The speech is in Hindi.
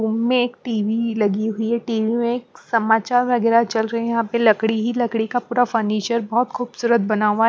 उम्ममें एक टी_वी ही लगी हुई है टी_वी में एक समाचार वगैरह चल रहे हैं यहाँ पे लकड़ी ही लकड़ी का पूरा फर्निचर बहुत खूबसूरत बना हुआ --